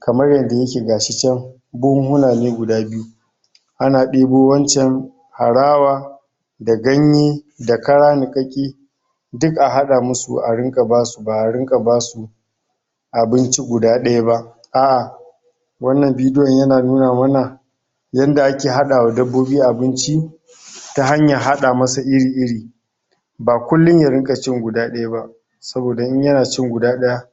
kamar yanda yake gashi chan buhuna ne guda byu ana debo wanchan arawa da ganye da kara nikakke duk ahada a ringa basu ba ringa basu abinci guda dayaba aʼa wannan video yana nuna mana yanda ake hada wa dabbobi abinci ta hanyar hada masa iri iri ba kullum ya ringa cin guda dayaba saboda in yana cin guda daya